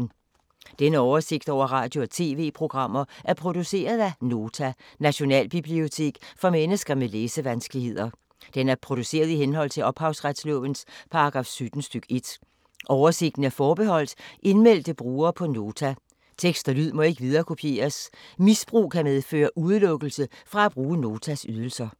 Denne oversigt over radio og TV-programmer er produceret af Nota, Nationalbibliotek for mennesker med læsevanskeligheder. Den er produceret i henhold til ophavsretslovens paragraf 17 stk. 1. Oversigten er forbeholdt indmeldte brugere på Nota. Tekst og lyd må ikke viderekopieres. Misbrug kan medføre udelukkelse fra at bruge Notas ydelser.